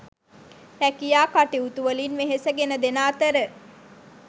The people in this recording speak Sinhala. රැකියා කටයුතුවලින් වෙහෙස ගෙන දෙන අතර